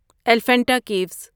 Elephanta caves